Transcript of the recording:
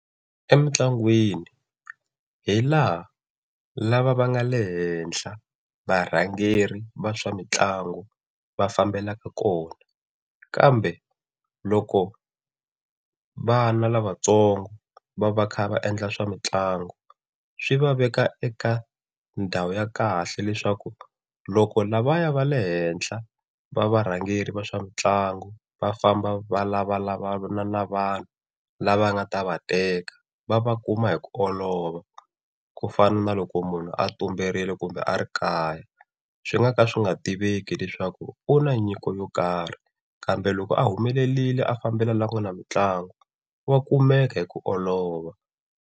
Emintlangwini hi laha lava va nga le henhla varhangeri va swa mitlangu va fambelaka kona. Kambe loko vana lavatsongo va va kha va endla swa mitlangu swi va veka eka ndhawu ya kahle leswaku loko lavaya va le henhla, va varhangeri va swa mitlangu va famba va lavalavana na vanhu lava nga ta va teka va va kuma hi ku olova. Ku fana na loko munhu a tumberile kumbe a ri kaya swi nga ka swi nga tiveki leswaku u na nyiko yo karhi kambe loko a humelerile a fambela laha ku nga na mitlangu wa kumeka hi ku olova.